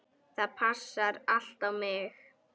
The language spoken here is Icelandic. Það passaði allt á mig.